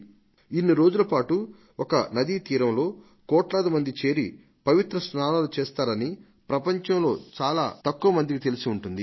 ఇన్నిరోజుల పాటు కోట్లాది మంది ఒక నదీ తీరంలో చేరి పవిత్ర స్నానాలు చేస్తారని ప్రపంచంలో చాలా తక్కువ మందికి తెలిసి ఉంటుంది